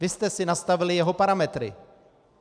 Vy jste si nastavili jeho parametry.